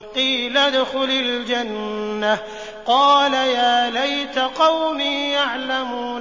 قِيلَ ادْخُلِ الْجَنَّةَ ۖ قَالَ يَا لَيْتَ قَوْمِي يَعْلَمُونَ